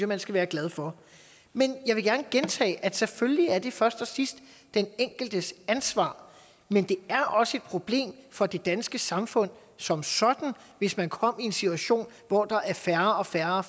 man skal være glad for men jeg vil gerne gentage at selvfølgelig er det først og sidst den enkeltes ansvar men det er også et problem for det danske samfund som sådan hvis man kommer i en situation hvor der er færre og færre